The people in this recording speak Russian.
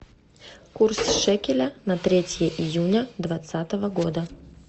курс шекеля на третье июня двадцатого года